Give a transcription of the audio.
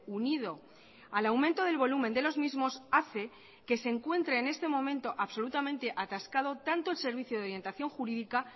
unido al aumento del volumen de los mismos hace que se encuentre en este momento absolutamente atascado tanto el servicio de orientación jurídica